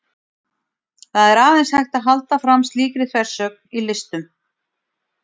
Það er aðeins hægt að halda fram slíkri þversögn í listum.